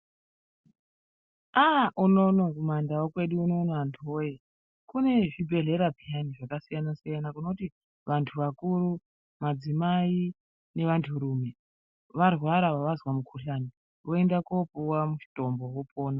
Aaaa unono kumaNdau kwedu unono antuwee kune zvibhedhlera peyani zvakasiyana siyana zvinoti madzimai antu akuru nevanturume varwara vazwa mukhuhlani voenda koopuwe mutombo vopona.